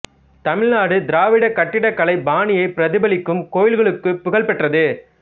தமிழ்நாடு திராவிடக் கட்டிடக்கலை பாணியைப் பிரதிபலிக்கும் கோயில்களுக்குப் புகழ் பெற்றது